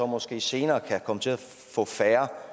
måske senere kan komme til at få færre